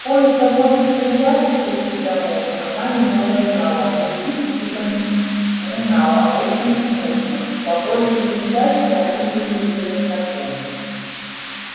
кое-кого из хозяек этих домов она немного знала других припоминала очень смутно по большей же части они были ей незнакомы